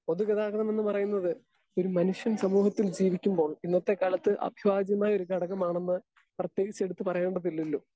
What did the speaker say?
Speaker 2 പൊതുഗതാഗതമെന്ന് പറയുന്നത് ഒരു മനുഷ്യൻ സമൂഹത്തിൽ ജീവിക്കുമ്പോൾ ഇന്നത്തെക്കാലത്ത് അഭിവാജ്യമായ ഒരു ഘടകമാണെന്ന് പ്രത്യേകിച്ചെടുത്തുപറയേണ്ടതില്ലല്ലോ.